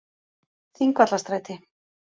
Þingvallastræti